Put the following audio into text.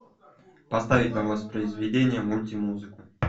поставить на воспроизведение мульти музыку